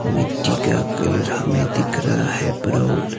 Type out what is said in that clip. मिट्टी का कलर हमें दिख रहा है ब्राउन --